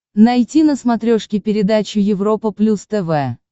найти на смотрешке передачу европа плюс тв